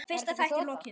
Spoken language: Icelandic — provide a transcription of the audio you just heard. Var þetta ekki þota?